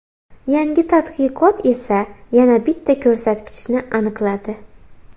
Yangi tadqiqot esa yana bitta ko‘rsatkichni aniqladi.